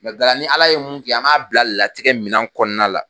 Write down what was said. Nga ni Ala ye mun kɛ an b'a bila latigɛ minɛn kɔnɔna la